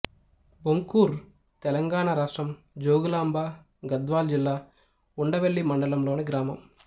బొంకూర్ తెలంగాణ రాష్ట్రం జోగులాంబ గద్వాల జిల్లా ఉండవెల్లి మండలంలోని గ్రామం